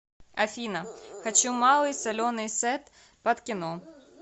афина хочу малый соленый сет под кино